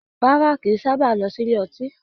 Rárá, kìí sábà lọ sílé ọtí